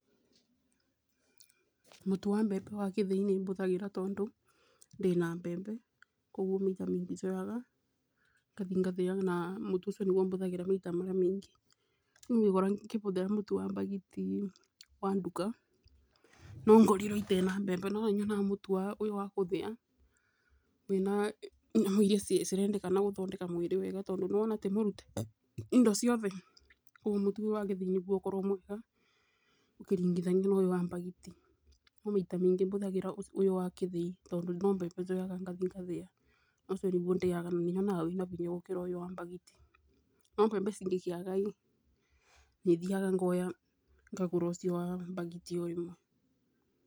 Mũtu wa mbembe wa gĩthĩi nĩbũthagĩra, tondũ ndĩna mbembe, ũguo maita maingĩ njoyaga ngathi ngathĩaga na mũtu ũcio nĩguo bũthagĩra maita marĩa maingĩ, ũngĩkora ngĩbũthĩra mũtu wa mbagiti wa nduka nongorirwe ĩte na mbembe, no nĩnyonaga mũtu ũyũ wa gũthĩa wĩna nyamũ irĩa cirendekana kũthondeka mwĩrĩ wega, tondũ nĩwona tĩmũrute indo ciothe, kwoguo mũtu wa gĩthĩi nĩguo ũkoragwo mwega ũkĩringithania na ũyũ wa mbagiti, no maita maingi maingĩ bũthagĩra ũyũ wa kĩthĩi, tondũ no mbembe njoyaga ngathi ngathĩa, ũcio nĩguo ndĩaga na nyonaga wĩna hĩnya gũkĩra wa mbagiti, no mbembe cingĩkĩaga ĩ, nĩthiaga ngoya ngagũra ũcio wa mbagiti o ĩmwe.